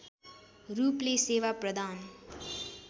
रूपले सेवा प्रदान